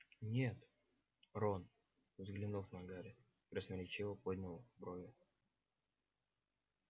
нет рон взглянув на гарри красноречиво поднял брови